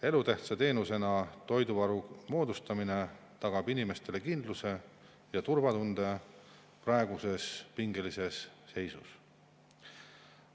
Elutähtsa teenusena toiduvaru moodustamine tagab inimestele praeguses pingelises seisus kindluse ja turvatunde.